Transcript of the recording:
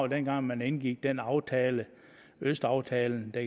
dengang man indgik denne aftale østaftalen der